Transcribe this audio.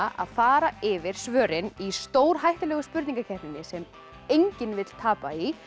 að fara yfir svörin í stórhættulegu spurningakeppninni sem enginn vill tapa í